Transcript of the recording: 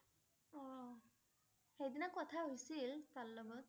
সেইদিনা কথা হৈছিল। তাৰ লগত ।